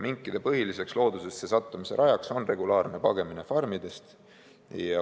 Minkide põhiliseks loodusesse sattumise rajaks on regulaarne pagemine farmidest.